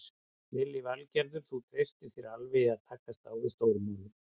Lillý Valgerður: Þú treystir þér alveg í að takast á við stóru málin?